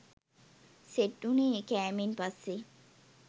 set වුණේ කෑමෙන් පස්සෙ